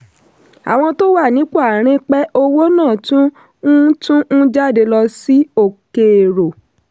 àwọn tó wà nípò àárín pẹ̀ owó náà tún ń tún ń jáde lọ sí òkèèrò.